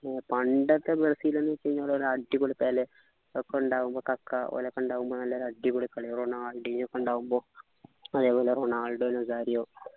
ഹും പണ്ടൊക്കെ ബ്രസീൽ ന്നു വെച്ച് കഴിഞ്ഞാൽ ഒരു അടിപൊളി പെലെ ഒക്കെ ഉണ്ടാകുമ്പോ കക്ക ഓലൊക്കെ ഉണ്ടാകുമ്പോ നല്ലൊരു അടിപൊളി കളിയാ റൊണാൾഡോ ഓകെ ഉണ്ടാകുമ്പോ അതേപോലെ റൊണാൾഡോ റൊസാരിയോ